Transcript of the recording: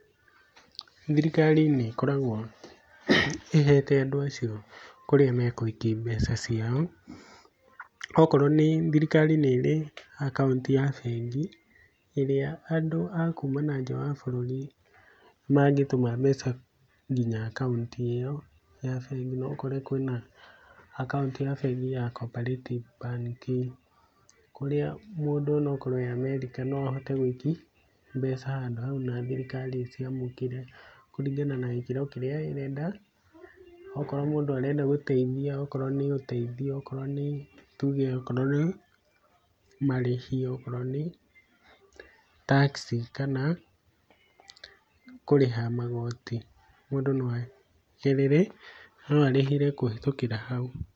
Thirikari nĩ ĩkoragwo ĩhete andũ acĩo kũrĩa megũikia mbeca cĩao, okorwo nĩ thirikar,i nĩrĩ akaunti ya bengĩ ĩrĩa andũ a kuma na nja wa bũrũri mangitũma mbeca ngĩnya akaunti ĩyo ya bengĩ, no ũkore kwĩ na akaunti ya bengĩ ya Cooperative Bank, kũria mũndũ onokorwo e Amerika, no ahote gũĩkia mbeca handũ hau na thirikari ĩciamũkire, kũrĩngana na gĩkĩro kĩrĩa ĩrenda, okorwo mũndũ arenda gũteĩthia, okorwo nĩ ũteĩthio, okorwo nĩ tũuge okorwo nĩ marĩhi, okorwo nĩ tax kana kũriha magotĩ mũndũ no arĩhĩre kũhĩtũkira hau.